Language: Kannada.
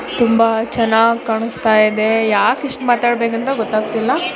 ತುಂಬಾ ಚೆನ್ನಾಗ್ ಕಾಣಸ್ತ ಇದೆ ಯಾಕ್ ಇಷ್ಟ್ ಮಾತಾಡಬೇಕು ಅಂತ ಗೊತ್ತಾಗತ್ತಿಲ್ಲಾ.